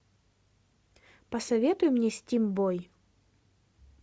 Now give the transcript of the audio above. посоветуй мне стим бой